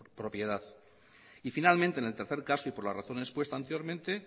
propiedad y finalmente en el tercer caso y por la razón expuesta anteriormente